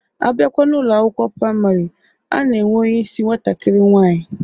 Abịakwa n'Ụlọ akwụkwọ praịmarị, a na-enwe onyeisi nwatakiri nwaanyi.